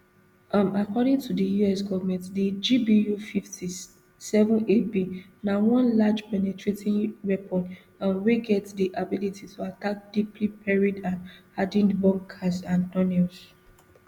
um according to di us government di gbufifty-sevenab na one large penetrating weapon um wey get di ability to attack deeply buried and hardened bunkers and tunnels